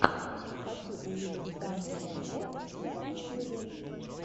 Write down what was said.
хочу увидеть тану монго на ютьюбе